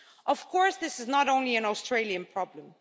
Of course, this is not only an Australian problem.